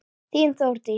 Þín, Þórdís.